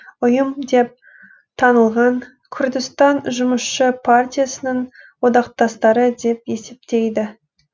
ұйым деп танылған күрдістан жұмысшы партиясының одақтастары деп есептейді